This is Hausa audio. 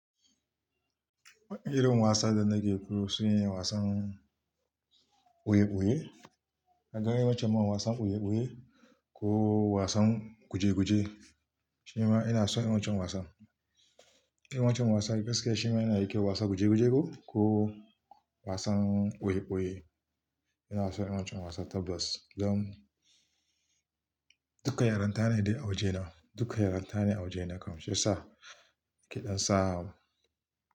Irin wasan da nake so yin wasan ɓoye-ɓoye. Na gan yawancin ma wasan ɓoye-ɓoye ko wasan guje-guje. Shi ma ina so yawancin wasan. Yawancin wasan, gaskiya shi ma yana da kyau wasan guje-guje ko, ko wasan ɓoye-ɓoye. Ina so yawancin wasan tabas. Don duka yaranta ne dai a waje na, duka yaranta ne a waje na kam. Shiyasa ke ɗansa.